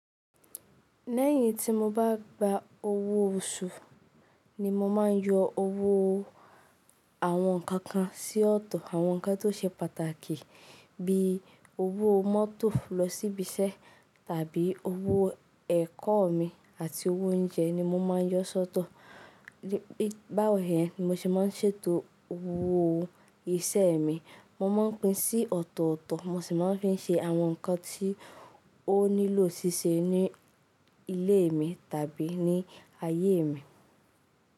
Lẹ́yìn tí mo bá gba owó oṣù ni mo maa ń yọ owó àwọn nǹkan kan sí ọ̀tọ̀. Àwọn nǹkan tó ṣe pàtàkì bí i owó mọ́tò lọ síbi iṣẹ́ tàbí owó ẹ̀kọ́ mi àti owó oúnjẹ ni mo maa ń yọ sóto. Báwo dẹ́ ni mo ṣe máa ń ṣètò owó iṣẹ́ mi, mo maa ń pín sí ọ̀tọ̀tọ̀, mo sì máa ń fi ń ṣe àwọn nǹkan tí ó nílò ṣíṣe ní ilé mi tàbí ní ayé mi.